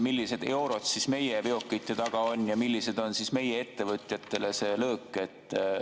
Millised eurod on meie veokite taga ja milline on meie ettevõtjatele see löök?